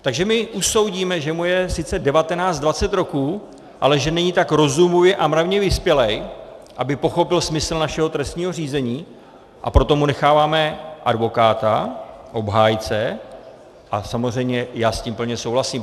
Takže my usoudíme, že mu je sice 19, 20 roků, ale že není tak rozumově a mravně vyspělý, aby pochopil smysl našeho trestního řízení, a proto mu necháváme advokáta, obhájce, a samozřejmě já s tím plně souhlasím.